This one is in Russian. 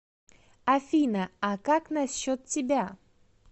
афина а как насчет тебя